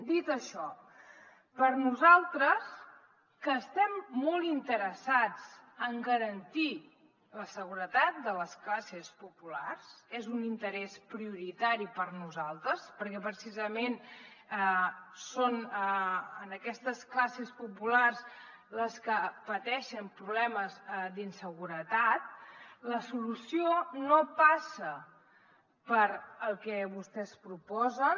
dit això per a nosaltres que estem molt interessats en garantir la seguretat de les classes populars és un interès prioritari per a nosaltres perquè precisament són aquestes classes populars les que pateixen problemes d’inseguretat la solució no passa pel que vostès proposen